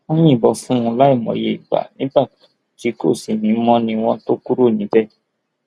wọn yìnbọn fún un láì mòye ìgbà nígbà tí kò sí mi mọ ni wọn tóó kúrò níbẹ